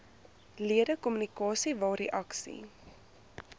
ledekommunikasie waar reaksie